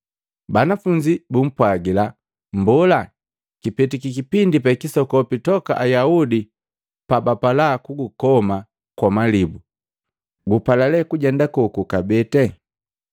Banafunzi bumpwagila, “Mbola, kipetiki kipindi pe kisokopi toka Ayaudi pabapala kugukoma kwa malibu, gupala kabee kujenda koko kabee?”